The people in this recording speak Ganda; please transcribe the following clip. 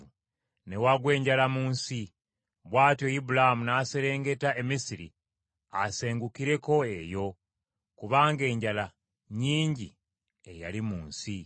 Ne wagwa enjala mu nsi. Bw’atyo Ibulaamu n’aserengeta e Misiri asengukireko eyo, kubanga enjala nnyingi eyali mu nsi.